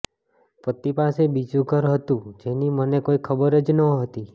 પતિ પાસે બીજું ઘર હતું જેની મને કોઈ ખબર જ નહોતી